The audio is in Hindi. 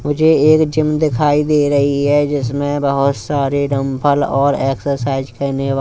मुझे एक जिम दिखाई दे रही हैं जिसमें बहोत सारे डम्बल और एक्सरसाइज करने वा--